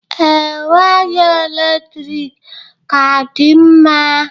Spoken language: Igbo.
Ee, waya eletrik ka dị mma.